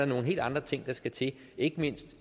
nogle helt andre ting der skal til ikke mindst